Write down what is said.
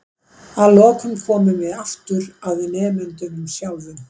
Að lokum komum við aftur að nemendunum sjálfum.